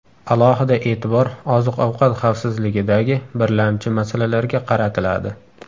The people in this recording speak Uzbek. Alohida e’tibor oziq-ovqat xavfsizligidagi birlamchi masalalarga qaratiladi.